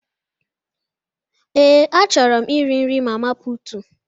Ee, a chọrọ m iri nri mama putu.